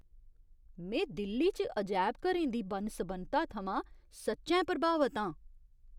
में दिल्ली च अजैबघरें दी बन्न सबन्नता थमां सच्चैं प्रभावत आं।